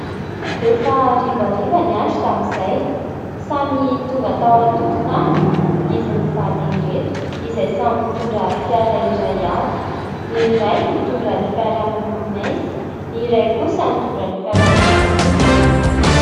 Efa harivariva ny andro tamin'izay, samy tonga tao an-tokontany izy mivady ireto, izay samy mitondra fiara iray avy: ny iray mitondra ny fiara miloko mainty, ny iray kosa mitondra ny fiara miloko fotsy.